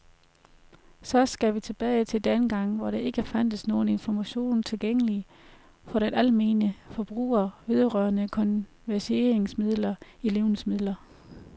Så skal vi tilbage til dengang hvor der ikke fandtes nogen information tilgængelig for den almene forbruger vedrørende konserveringsmidler i levnedsmidler.